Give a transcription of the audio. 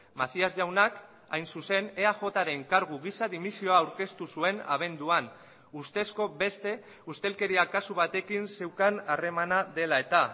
macías jaunak hain zuzen eajren kargu gisa dimisioa aurkeztu zuen abenduan ustezko beste ustelkeria kasu batekin zeukan harremana dela eta